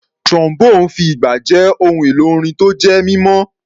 Trombone fi ìgbà jẹ́ ohun èlò orin tó jẹ́ mímọ́.